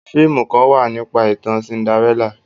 fíìmù Kan wá nípa itan Cinderella.